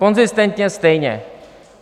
Konzistentně stejně.